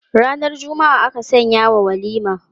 Ranar Juma'a aka sanyawa walima.